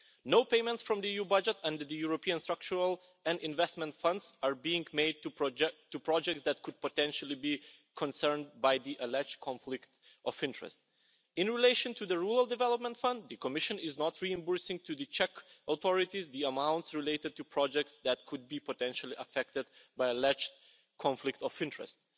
No payments from the EU budget under the European structural and investment funds are being made to projects that could potentially be concerned by the alleged conflict of interests. In relation to the Rural Development Fund, the Commission is not reimbursing the Czech authorities for the amounts related to projects that could be potentially affected by alleged conflict of interests.